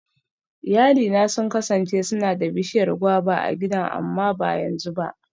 Iyalina sun kasance suna da bishiyar guava a gidan amma ba yanzu ba.